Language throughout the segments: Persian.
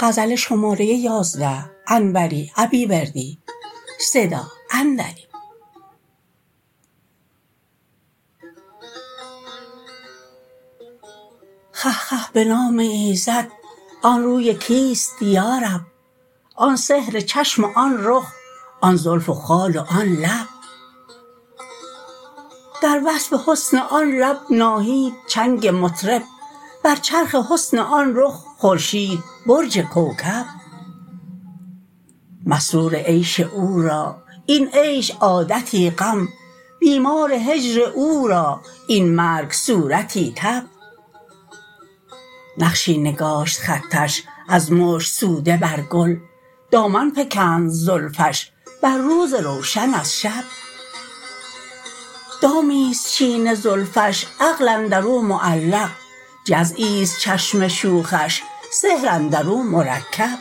خه خه به نام ایزد آن روی کیست یارب آن سحر چشم و آن رخ آن زلف و خال و آن لب در وصف حسن آن لب ناهید چنگ مطرب بر چرخ حسن آن رخ خورشید برج کوکب مسرور عیش او را این عیش عادتی غم بیمار هجر او را این مرگ صورتی تب نقشی نگاشت خطش از مشک سوده بر گل دامن فکند زلفش بر روز روشن از شب دامیست چین زلفش عقل اندرو معلق جزعیست چشم شوخش سحر اندرو مرکب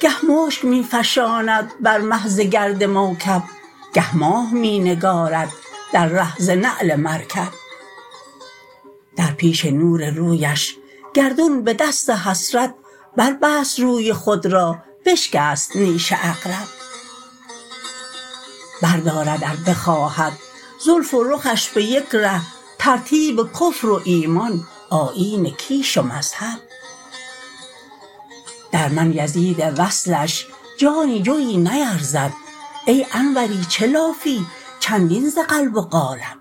گه مشک می فشاند بر مه ز گرد موکب گه ماه می نگارد در ره ز نعل مرکب در پیش نور رویش گردون به دست حسرت بربست روی خود را بشکست نیش عقرب بردارد ار بخواهد زلف و رخش به یک ره ترتیب کفر وایمان آیین کیش و مذهب در من یزید وصلش جانی جوی نیرزد ای انوری چه لافی چندین ز قلب و قالب